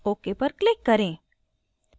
ok पर click करें